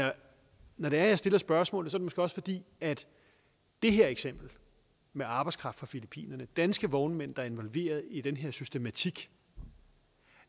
når det er jeg stiller spørgsmålet er det måske også fordi det her eksempel med arbejdskraft fra filippinerne og danske vognmænd der er involveret i den her systematik